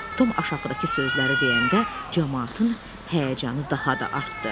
Tom aşağıdakı sözləri deyəndə, camaatın həyəcanı daha da artdı.